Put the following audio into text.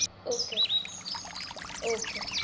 OkayOkay